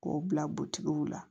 K'o bila la